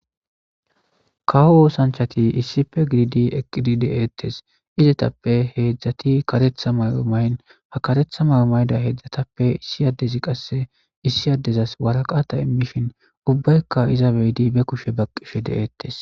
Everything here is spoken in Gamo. Kawo oothanchati issipe gididi eqqidi de'eetees. Izetappe heedzati karetha mayo mayin,karetha mayo mayida heedzatappe issi addezi qasse issi addezas waraqate immishin ubbayka iza beyidi be kushe baqqishe de'eetees.